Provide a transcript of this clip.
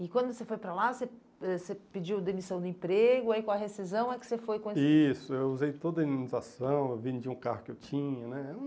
E quando você foi para lá, você ãh você pediu demissão do emprego, aí com a rescisão é que você foi com esse... Isso, eu usei toda a imunização, vendi um carro que eu tinha, né?